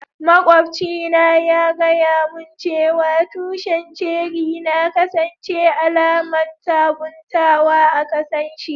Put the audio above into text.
Maƙwabci na ya gaya mun cewa tushin ceri na kasance alaman sabuntawa a kasan shi.